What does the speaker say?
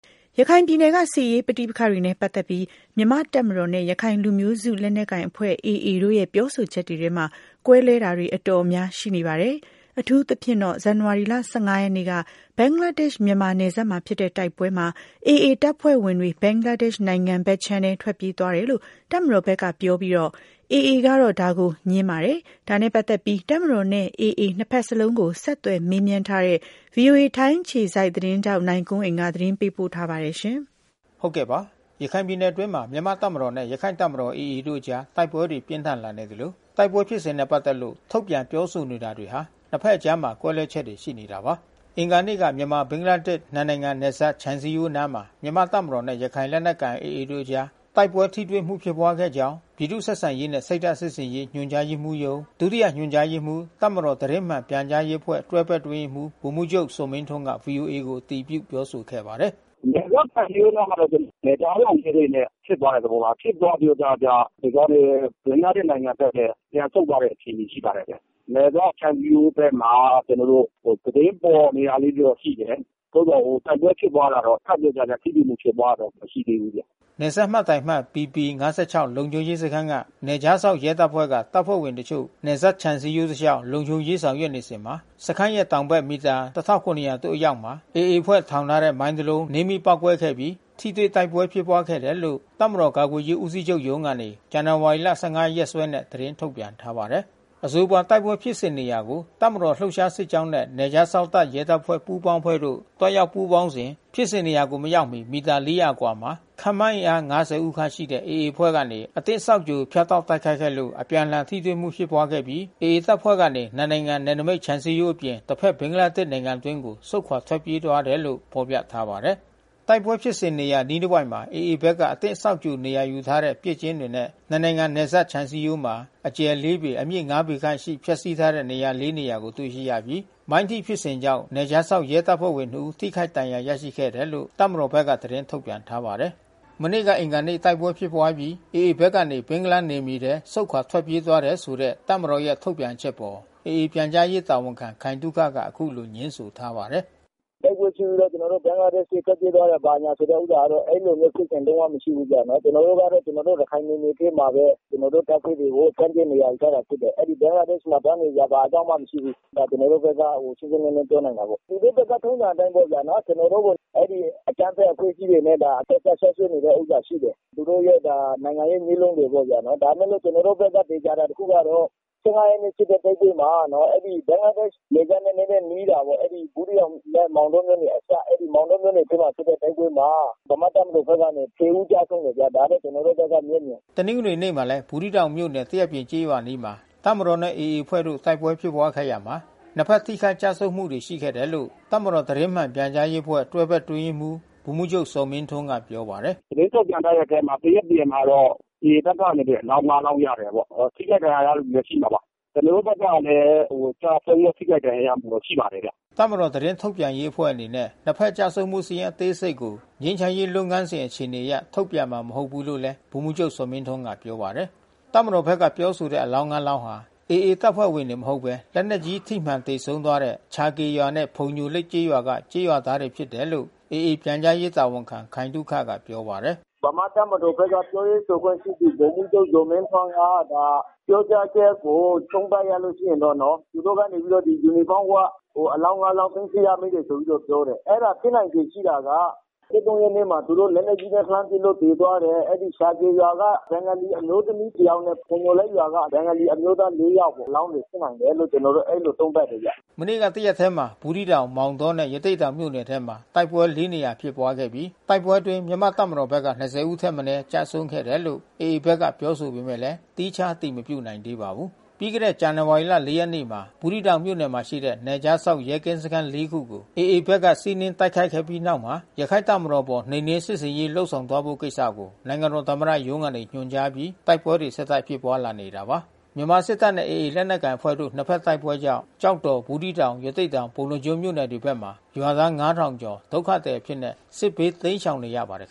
ရခိုင်ပြည်နယ်က စစ်ရေးပဋိပက္ခတွေနဲ့ပတ်သက်ပြီး မြန်မာ့တပ်မတော်နဲ့ ရခိုင်လူမျိုးစု လက်နက်ကိုင်အဖွဲ့ AA တို့ရဲ့ ပြောဆိုချက်တွေထဲမှာ ကွဲလွဲတာတွေ အတော်များများ ရှိနေပါတယ်။ အထူးသဖြင့်တော့ ဇန်နဝါရီလ ၁၅ ရက်နေ့က ဘင်္ဂလားဒေ့ရှ်-မြန်မာ နယ်စပ်မှာဖြစ်တဲ့ တိုက်ပွဲမှာ AA တပ်ဖွဲ့ဝင်တွေ ဘင်္ဂလားဒေ့ရှ် နိုင်ငံဘက်ခြမ်းထဲ ထွက်ပြေး သွားတယ်လို့ တပ်မတော်ဘက်ကပြောပြီး AA ကတော့ ဒါကိုငြင်းပါတယ်။ ဒါနဲ့ ပတ်သက်ပြီး တပ်မတော်နဲ့ AA နှစ် ဘက်လုံးကို ဆက်သွယ်မေးမြန်းထားတဲ့ ဗွီအိုအေ ထိုင်းအခြေစိုက် သတင်းထောက် နိုင်ကွန်းအိန်က သတင်းပေး ပို့ထားပါတယ်။ ရခိုင်ပြည်နယ်အတွင်းမှာ မြန်မာ့တပ်မတော်နဲ့ ရခိုင့်တပ်မတော် AA တို့ အကြားတိုက်ပွဲတွေပြင်းထန် လာနေသလို တိုက်ပွဲဖြစ်စဉ်နဲ့ ပတ်သက်လို့ ထုတ်ပြန် ပြောဆိုနေတာ တွေမှာ နှစ်ဘက်အကြား ကွဲလွဲချက်တွေ ရှိနေတာပါ။ အင်္ဂါနေ့က မြန်မာ-ဘင်္ဂလားဒေ့ရှ် နှစ်နိုင်ငံနယ်စပ် ခြံစည်းရိုးအနားမှာ မြန်မာ့တပ်မတော် နဲ့ ရခိုင်လက် နက်ကိုင် AAတို့အကြားတိုက်ပွဲ ထိတွေ့မှုဖြစ်ပွါး ခဲ့ကြောင်း ပြည်သူ့ဆက်ဆံရေးနှင့် စိတ်ဓာတ် စစ်ဆင်ရေး ညွှန် ကြားရေးမှူးရုံး ဒုတိယညွှန်ကြားရေးမှူး၊ တပ်မတော် သတင်းမှန်ပြန်ကြားရေးအဖွဲ့ တွဲဘက် အတွင်းရေးမှူး ဗိုလ်မှူးချုပ်ဇော်မင်းထွန်းက ဗွီအိုအေကို အတည်ပြုပြောဆို ခဲ့ပါတယ်။ “နယ်စပ်ခြံစည်းရိုးနားမှာတော့ နယ်ခြားစောင့်ဂိတ်တွေနဲ့ဖြစ်သွားတဲ့သဘော။ ဖြစ်သွားတဲ့ပြီးတော့ ဘင်္ဂလားဒေ့ရှ် နိုင်ငံဘက်ထဲပြန်ဆုတ်သွားတဲ့ အခြေအနေ ရှိပါတယ်ပေါ့။ နယ်စပ်ခြံစည်းရိုးဘက်မှာ ကျွန်တော်တို့ သတင်းပေါ်နေတာလေး တွေရှိတယ်။ သို့သော် တိုက်ပွဲဖြစ်ပွါးတာတော့ ခပ်ကြာကြာထိတွေ့မှုဖြစ်ပွါးတာတော့ မရှိသေးဘူးဗျ။” နယ်စပ်မှတ်တိုင်အမှတ်၊ ဘီပီ-၅၆ လုံခြုံရေးစခန်းက နယ်ခြားစောင့် ရဲတပ်ဖွဲ့မှ တပ်ဖွဲ့ဝင် အချို့ နယ်စပ်ခြံစည်းရိုး တစ်လျှောက် လုံခြုံရေး ဆောင်ရွက်စဉ် စခန်းရဲ့တောင်ဘက် မီတာ ၁၇ဝဝ သို့ အရောက် မှာ AA အဖွဲ့ ထောင်ထား တဲ့ နင်းမိုင်း တစ်လုံး နင်းမိပေါက်ကွဲ ခဲ့ပြီး ထိတွေ့ တိုက်ပွဲဖြစ်ပွားခဲ့တယ် လို့တပ်မတော် ကာကွယ်ရေးဦးစီးချုပ်ရုံး ကနေ ဇန်နဝါရီ ရက်စွဲ နဲ့ သတင်းထုတ်ပြန်ထားပါတယ်။ အဆိုပါတိုက်ပွဲ ဖြစ်စဉ်နေရာကို တပ်မတော်လှုပ်ရှား စစ်ကြောင်း နဲ့ နယ်ခြားစောင့် ရဲတပ်ဖွဲ့ မှ ပူးပေါင်းအဖွဲ့တို့ သွား ရောက်ပူးပေါင်းစဉ် ဖြစ်စဉ်နေရာကို မရောက်မီ မီတာ ၄ဝဝ ခန့်အကွာမှာ ခန့်မှန်းအင်အား ၅ဝ ဦးခန့်ရှိ AA အဖွဲ့က အသင့်စောင့်ကြို ဖြတ်တောက် တိုက်ခိုက်ခဲ့ လို့အပြန်အလှန် ထိတွေ့မှုဖြစ်ပွား ခဲ့ပြီး AA တပ်ဖွဲ့ ကနေ နှစ်နိုင်ငံ နယ်နိမိတ် ခြံစည်း ရိုးအပြင် တစ်ဖက်ဘင်္ဂလားဒေ့ရှ်နိုင်ငံ အတွင်းဘက် ကို ဆုတ်ခွာ ထွက်ပြေးသွားခဲ့တယ်လို့ ဖေါ်ပြထားပါတယ်။ တိုက်ပွဲဖြစ်စဉ်နေရာ အနီးတစ်ဝိုက်မှာ AA ဘက်က အသင့်စောင့်ကြို နေရာယူထားတဲ့ ပစ်ကျင်းတွေနဲ့ နှစ်နိုင်ငံ နယ်စပ်ခြံစည်းရိုးမှာ အကျယ် ၄ ပေ၊ အမြင့် ၅ ပေခန့်ရှိ ဖျက်ဆီး ထားတဲ့ နေရာလေးနေရာ အား တွေ့ရှိရပြီး မိုင်း ထိဖြစ်စဉ်ကြောင့် နယ်ခြားစောင့် ရဲတပ်ဖွဲ့ဝင်နှစ်ဦး ထိခိုက်ဒဏ်ရာ ရရှိခဲ့တယ်လို့ တပ်မတော်ဘက်က သတင်း ထုတ်ပြန် ထားပါတယ်။ မနေ့ကအင်္ဂါနေ့တိုက်ပွဲဖြစ်ပွါးအပြီး AAဘက်ကနေ ဘင်္ဂလားနယ်မြေထဲ ဆုတ်ခွါ ထွက်ပြေးသွား တယ်ဆိုတဲ့ တပ်မတော်ရဲ့ထုတ်ပြန်ချက်အပေါ် AAပြန်ကြားရေး တာဝန်ခံ ခိုင်သုခက အခုလိုငြင်းဆိုထားပါတယ်။ “တိုက်ပွဲဖြစ်ပြီးကျွန်တော်တို့ ဘင်္ဂလားဘက်ထွက်ပြေးသွားတာ ဘာညာဆိုတဲ့ ဥစ္စာ ကတော့ အဲဒီဖြစ်စဉ် လုံးဝမရှိဘူး ဗျ။ ကျွန်တော်တို့က ကျွန်တော်တို့ ရခိုင်နယ်မြေ အတွင်းမှာဘဲ ကျွန်တော်တို့ တပ်ဖွဲ့တွေကို တပ်ဖြန့်နေရာယူထား တာဖြစ်တယ်။ အဲဒီ ဘင်္ဂလားဒေ့ရှ် မှာ သွားနေစရာဘာအကြောင်းမှ မရှိဘူး။ ဒါကျွန်တော်တို့ဘက်က ရှင်းရှင်း လင်း ပြောနိုင်တာပေါ့။ သူတို့ဘက်က ထုံးစံအတိုင်းပေါ့ဗျာနော။ ကျွန်တော်တို့ကို ဒီအကြမ်းဖက်အဖွဲ့အစည်းတွေနဲ့ အဆက်ဖြစ်နေတဲ့ ဥစ္စာရှိတယ်။ သူတို့ရဲ့ နိုင်ငံရေးနည်းလမ်းတွေပေါ့ဗျာ။ ဒါပေမဲ့လို့ကျွန်တော်တို့ဖက်က သေချာတာ တခု ကတော့ ရက်နေ့ဖြစ်တဲ့တိုက်ပွဲမှာ အဲဒီဘင်္ဂလားဒေရှ် နယ်စပ်နဲ့နဲနဲ နီးတာပေါ့။ အဲဒီဘူးသီးတောင်နဲ့ မောင် တောမြို့နယ်အစပ်။ အဲဒီမောင်တောမြို့နယ် အတွင်းမှာဖြစ်တဲ့ တိုက်ပွဲမှာ ဗမာ့တပ်မတော်ဘက်က ဦးကျဆုံး တယ်ဗျာ။ ဒါတော့ ကျွန်တော်တို့ဘက်က မျက်မြင်။” တနင်္ဂနွေနေ့မှာလည်း ဘူးသီးတောင်မြို့နယ် သရက်ပြင်ကျေးရွာ အနီးမှာ တပ်မတော် နဲ့ AA အဖွဲ့ တို့ တိုက် ပွဲဖြစ်ပွါးခဲ့ရာမှာ နှစ်ဖက် ထိခိုက်ကျဆုံးမှု ရှိခဲ့တယ်လို့ တပ်မတော် သတင်းမှန် ပြန်ကြား ရေးအဖွဲ့ တွဲဘက် အတွင်း ရေးမှူး ဗိုလ်မှူးချုပ် ဇော်မင်းထွန်းက ပြောပါတယ်။ “သတင်းထုတ်ပြန်ထားတဲ့အထဲမှာ သရက်ပြင်မှာတော့ AAဘက်ကနေ အလောင်း လောင်း ရတာပေါ့။ ထိခိုက်ဒဏ် ရာရတဲ့ သူလဲရှိမှာပါ။ ကျွန်တော်တို့ ဖက်ကလဲ ကျဆုံး ထိခိုက်ဒဏ်ရာရမှုတွေ ရှိပါတယ်ဗျ။” တပ်မတော်သတင်းထုတ်ပြန်ရေးအဖွဲ့အနေနဲ့ နှစ်ဖက်ကျဆုံးမှုစာရင်း အသေးစိတ်ကို ငြိမ်းချမ်းရေး လုပ်ငန်းစဉ် အခြေအနေအရ ထုတ်ပြန်မှာ မဟုတ်ဘူးလို့လဲ ဗိုလ်မှူးချုပ် ဇော်မင်းထွန်းက ပြောပါတယ်။ တပ်မတော်ဖက်ကပြောဆိုတဲ့အလောင်း လောင်းဟာ AAတပ်ဖွဲ့ဝင်တွေမဟုတ်ဘဲ လက်နက်ကြီး ထိမှန်ပြီးဆုံးသွားတဲ့ ချာကေရွာနဲ့ဖုန်ညိုလိပ်ရွာက ကျေးရွာသားတွေ ဖြစ်တယ်လို့AAပြန်ကြားရေး တာဝန်ခံခိုင်သုခက ပြောပါတယ်။ “ဗမာ့တပ်မတော်ဘက်က ပြောရေးဆိုခွင့်ရှိသူ ဗိုလ်မှူးချုပ်ဇော်မင်းထွန်း က ပြောကြားချက် ကို သုံးသပ်ရလို့ရှိရင်တော့ သူတို့ကနေ ယူနီဖေါင်းဝတ် အလောင်း လောင်း သိမ်းဆီးရမိတယ်ဆိုပြီး တော့ပြောတယ်။ အဲတာ ဖြစ်နိုင်ချေရှိတာက ရက်နေ့မှာ သူတို့လက်နက်ကြီးနဲ့လှမ်းပစ်လို့သေသွားတဲ့ အဲဒီ ချာကေရွာက ဘင်္ဂါလီ အမျိုးသမီးတဦး တဦးနဲ့ ဖုန်ညိုလိပ်ရွာက ဘင်္ဂါလီ အမျိုးသား ယောက် အလောင်းတွေ ဖြစ်နိုင်တယ်လို့ ကျွန်တော်တို့သုံးသပ်တယ်ဗျ။” မနေ့က တရက်ထဲမှာ ဘူးသီးတောင် မောင်တောမြို့နယ်နဲ့ ရသေ့တောင်မြို့နယ်ထဲမှာ တိုက်ပွဲ နေရာ ဖြစ်ပွါးခဲ့ပြီး တိုက်ပွဲ အတွင်းမြန်မာ့ တပ်မတော်ဘက်က ဦးထက်မနည်း ကျဆုံးခဲ့တယ်လို့AA ကပြောဆိုပေမဲ့ သီးခြား အတည်မပြုနိုင်သေး ပါဘူး။ ပြီးခဲ့တဲ့ဇန်နဝါရီလ ရက်နေ့မှာ ဘူးသီးတောင်မြို့နယ် မှာရှိတဲ့ နယ်ခြားစောင့်ရဲကင်း စခန်း ခုကို AA ဘက်က စီးနင်းတိုက်ခိုက်ခဲ့ပြီး နောက်မှာ ရခိုင်တပ်မတော်အပေါ်နှိ မ်နင်း စစ်ဆင်ရေးလုပ်ဆောင်သွားဖို့ ကိစ္စကို နိုင်ငံတော် သမ္မတရုံး ကနေညွှန်ကြားအပြီး တိုက်ပွဲတွေ ဆက်တိုက်ဖြစ်ပွါးလာနေတာပါ။ မြန်မာစစ်တပ်နဲ့AAလက်နက်ကိုင်အဖွဲ့တို့ နှစ်ဖက်တိုက်ပွဲကြောင့် ကျောက်တော်ဘူးသီးတောင် ရသေ့တောင် ပုဏ္ဏားကျွန်းမြို့နယ်တွေဘက် မှာ ရွာသား ကျော် ဒုက္ခသည် အဖြစ်နဲ့ စစ်ဘေး တိမ်းရှောင်နေရ ပါတယ်